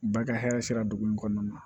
Ba ka hɛrɛ sera dugu in kɔnɔna na